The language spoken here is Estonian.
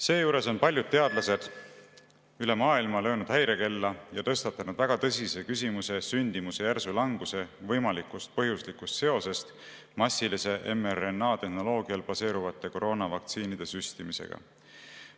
Seejuures on paljud teadlased üle maailma löönud häirekella ja tõstatanud väga tõsise küsimuse sündimuse järsu languse võimalikust põhjuslikust seosest massilise mRNA‑tehnoloogial baseeruvate koroonavaktsiinide süstimisega.